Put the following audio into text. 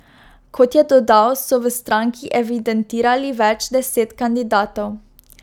Kot je dodal, so v stranki evidentirali več deset kandidatov.